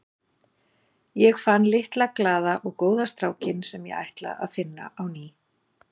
Ég fann litla, glaða og góða strákinn sem ég ætla að finna á ný.